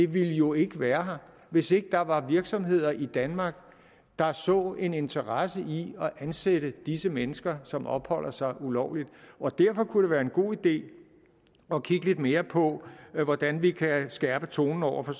ville jo ikke være her hvis ikke der var virksomheder i danmark der så en interesse i at ansætte disse mennesker som opholder sig ulovligt og derfor kunne det være en god idé at kigge lidt mere på hvordan vi kan skærpe tonen over for